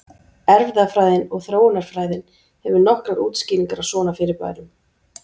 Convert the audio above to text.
Erfðafræðin og þróunarfræðin hefur nokkrar útskýringar á svona fyrirbærum.